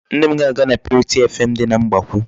Nne m ga-aga na purity FM dị na Mgbakwụ.